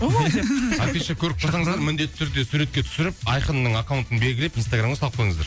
ооо афиша көріп қалсаңыздар міндетті түрде суретке түсіріп айқынның акаунтын білгілеп инстаграмға салып қойыңыздар